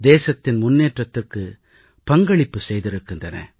தேசத்தின் முன்னேற்றத்துக்கு பங்களிப்பை வழங்கியிருக்கின்றன